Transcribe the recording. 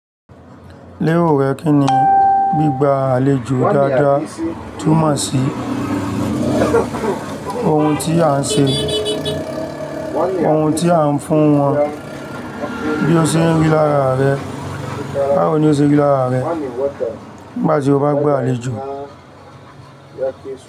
Léwọ̀ rẹ̀ kíni, gbígba àlejò dáadáa túmọ̀ sí ohun tí a ń ṣe, ohun tí a ń fún wọn bí o ṣe ń rí lára rẹ. Báwo ni o ṣe rí lára rẹ? Bá tí o bá gba àlejò.